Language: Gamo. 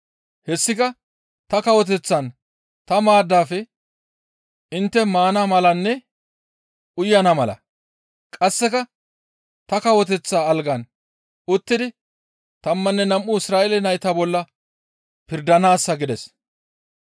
Hessika ta kawoteththan ta maaddafe intte maana malanne uyana mala; qasseka ta kawoteththa algan uttidi tammanne nam7u Isra7eele nayta bolla pirdanaassa» gides.